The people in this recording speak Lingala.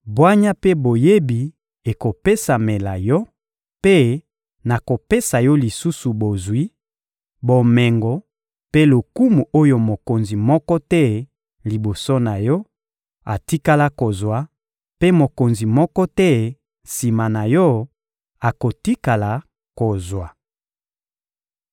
bwanya mpe boyebi ekopesamela yo, mpe nakopesa yo lisusu bozwi, bomengo mpe lokumu oyo mokonzi moko te, liboso na yo, atikala kozwa, mpe mokonzi moko te, sima na yo, akotikala kozwa.